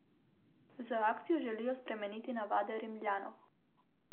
Z akcijo želijo spremeniti navade Rimljanov.